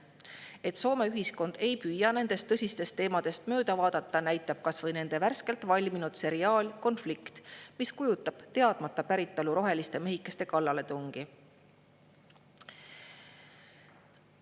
Et Soome ühiskond ei püüa nendest tõsistest teemadest mööda vaadata, näitab kas või nende värskelt valminud seriaal "Konflikt", mis kujutab teadmata päritolu roheliste mehikeste kallaletungi.